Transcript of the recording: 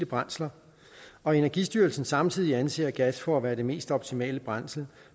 brændsler og energistyrelsen samtidig anser gas for at være det mest optimale brændsel